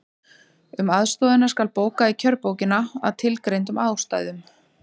Um aðstoðina skal bóka í kjörbókina, að tilgreindum ástæðum.